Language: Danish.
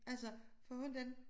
Altså for hundan